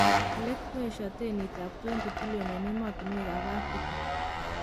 Kii en leet koesio teni ab $20bn en emotuwek ab Afrika.